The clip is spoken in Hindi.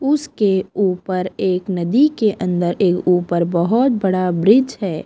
उसके ऊपर एक नदी के अंदर एक ऊपर बहोत बड़ा ब्रिज है।